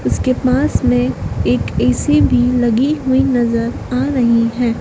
उसके पास में एक ए_सी भी लगी हुई नजर आ रही है।